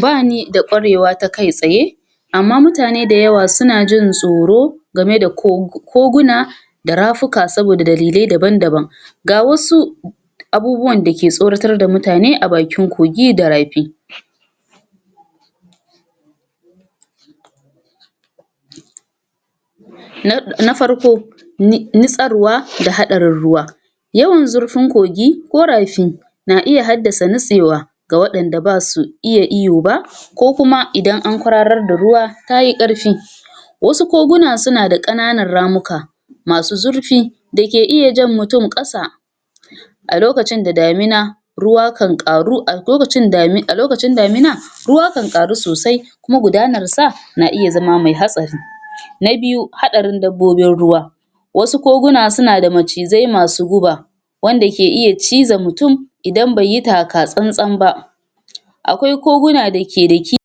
Bani da kwarewa ta kai tsaye amman mutane da yawa syuna jin tsoro gama da kogo, koguna da rafuka saboda dalilai daban-daban ga wasu abubuwan da suke tsoratar da mutane a bakin kogi da rafi na farko nitsarwa da hadarin ruwa yawan zurfin kogi ko rafi na haddasa nitewa ga wadanda ba su iya iyo ba ko kuma idan an kwararo da ruwa ta yi karfi wasu koguna suna da kananan ramuka masu zurfi da ke iya jan mutum kasa a lokacin da damina a lokacin da damina ruwa kan karu, alokacin damina ruwa kan karu sosai kuma gudanar sa na iya zama hatsari na biyu hadarin dabbobin ruwa wasu koguna suna da macizai masu guba wanda ke iya cizan mutum idam bai yi takasantsan ba akwi koguna da ke da ki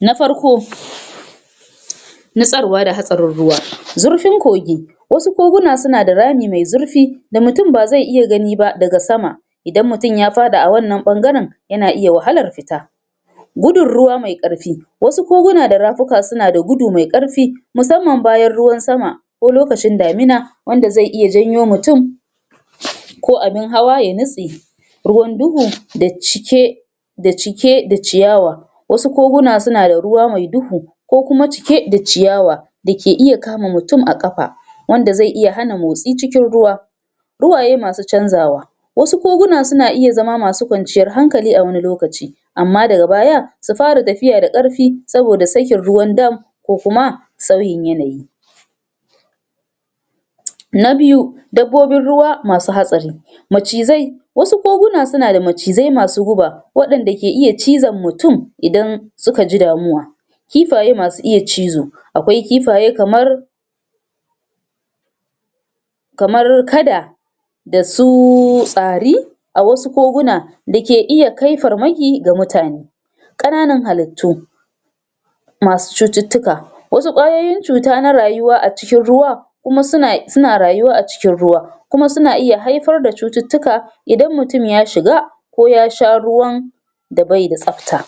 na farko nitsarwa da hatsarin ruwa zurfin kogi wasu koguna suna da rami me zirfi da mutum ba zai iya ganiba daga sama idan mutum ya fada a wannan bangaren yana iya wahalar fita gudun ruwa mai karfi wasu koguna da rafuka suna da gudu mai karfi musamman bayan ruwan sama ko lokacin damina wanda zai iy janyo mutum ko abun hawa ya nitse ruwan duhu da cike da cike da ciyawa wasu koguna suna da ruwa mai duhu kokuma cike da ciyawa da ke iya kama mutum a kafa wnda ze iya hana mutum motsi cikin ruwa ruwaye masu canzawa wasu kokuna suna iya zama masu kwanciyar hankali wani lokaci ama daga baya su fara tafiyar karfi, sabida sakin ruwan dam ko kuma sauyin yanayi na biyu dabbobin ruwa masu hatsari macizai wasu koguna suna da macizai masu guba wanda ke iya cizan mutum idan idan suka ji damuwa kifaye masu iya cizo akwai kifaye kamar kamar kada da suuuuuu tsari a wasu koguna da ke iya kai farmaki ga mutane kanan haluttu masu cututtuka wasu kwayoyin cuta na rayuwa a cikin ruwan kuma suna, suna rayuwa a cikin ruwa kuma suna iya haifar da cututtuka idan mutum ya shiga ko ya sha ruwan da baida tsafta